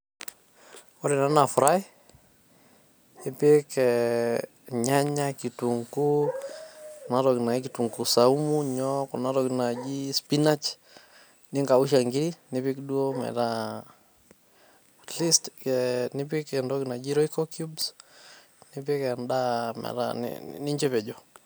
Ore ena naa fry , ipik irnyanya ,kitunguu, enatoki nai kitunguu saumu ,nyoo kuna tokititin naji spinach ,nikausha nkiri ,nipik duo metaa atleast kee nipik entoki naji royco cubes nipik endaa metaa ni nincho epejo.